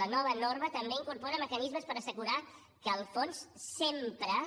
la nova norma també incorpora mecanismes per assegurar que el fons sempre